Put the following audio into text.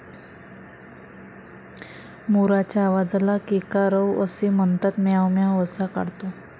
मोराच्या आवाजाला केकारव असे म्हणतात. म्याव म्याव असा काढतो.